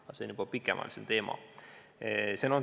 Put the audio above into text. Aga see on juba pikemaajalisem teema.